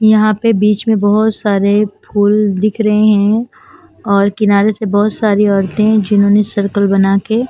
यहा पे बीच में बोहोत सारे फुल दिख रहे है और किनारे से बहोत सारी औरते जिन्होंने सर्कल बना के--